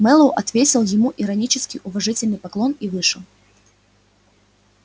мэллоу отвесил ему иронический уважительный поклон и вышел